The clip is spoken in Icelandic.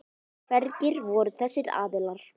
Hverjir voru þessir aðilar?